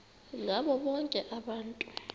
ngabo bonke abantu